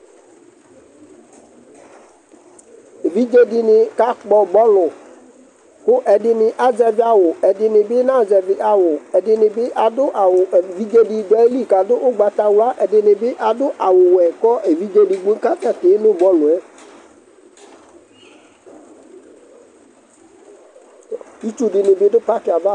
Ɛvidze dini ka kpɔ bɔluKu ɛdini azɛvi awu, ɛdini bi ana zɛvi awu Ɛdini bi adu awu Evidze du ayili kadu ugbata wla Ɛdini bi adu awu wɛKu ɛvidze di bi asɛ ti nu bɔluɛ Itsu di ni bi du paki yɛ ava